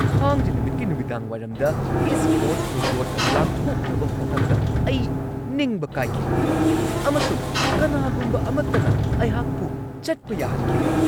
ꯊꯥꯡꯖ ꯅꯨꯃꯤꯠꯀꯤ ꯅꯨꯃꯤꯗꯥꯡꯋꯥꯏꯔꯝꯗ ꯏꯁꯠ ꯀꯣꯁꯠ ꯔꯣꯗ ꯂꯥꯟꯊꯣꯛꯅꯕ ꯍꯣꯠꯅꯕꯗ ꯑꯩ ꯅꯤꯡꯕ ꯀꯥꯏꯈꯤ ꯑꯃꯁꯨꯡ ꯀꯅꯥꯒꯨꯝꯕ ꯑꯃꯠꯇꯅ ꯑꯩꯍꯥꯛꯄꯨ ꯆꯠꯄ ꯌꯥꯍꯟꯈꯤꯗꯦ꯫